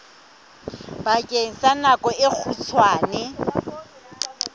bakeng sa nako e kgutshwane